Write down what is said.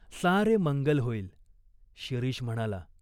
सारे मंगल होईल." शिरीष म्हणाला.